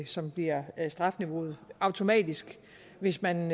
som bliver strafniveauet automatisk hvis man